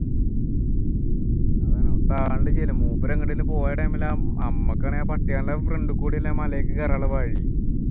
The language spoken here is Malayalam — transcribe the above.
അതാണ് അവിടുത്തെ ആളുണ്ടെങ്കിലും ഇല്ല മൂപ്പര് എങ്ങോട്ടെങ്കിലും പോയ time ലാണ് മ്മക്കാണെങ്കിൽ ആ പട്ടികളുടെ front കൂടിയല്ലേ മലേക്ക് കേറാനുള്ള വഴി